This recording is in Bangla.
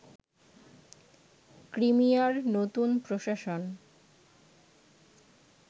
ক্রিমিয়ার নতুন প্রশাসন